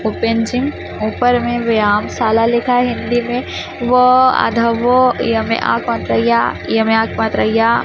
ऊपर में व्यायाम शाला लिखा है हिंदी में व आधा व य में आ की मात्रा या य में आ की मात्रा या।